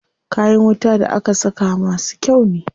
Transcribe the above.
Kayan wuta da aka saka masu kyau ne.